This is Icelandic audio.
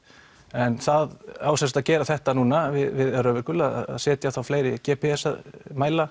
en það á sem sagt að gera þetta núna við Öræfajökul að setja þá fleiri g p s mæla